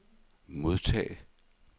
modtag